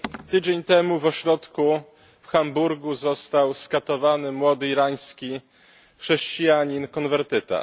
Tydzień temu w ośrodku w Hamburgu został skatowany młody irański chrześcijanin konwertyta.